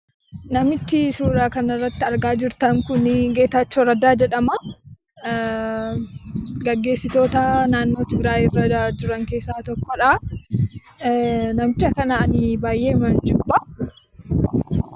Namichi suuraa kanarratti argaa jirtan kun Geetaachoo Raddaa jedhama. Gaggeessitoota naannoo Tigraay jiran keessaa tokkodha. Namicha kana ani baay'eedhuman jibba.